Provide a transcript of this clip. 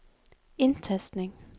indtastning